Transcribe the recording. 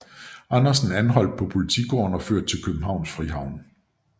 Andersen anholdt på Politigården og ført til Københavns Frihavn